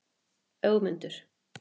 Ögmundur